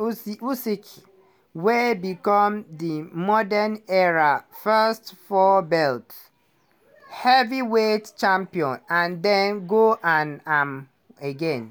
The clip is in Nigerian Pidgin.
usyk uskyy wey become di modern era first four-belt heavyweight champion and dem go am am again.